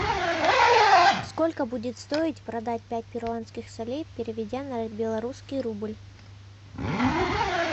сколько будет стоить продать пять перуанских солей переведя на белорусский рубль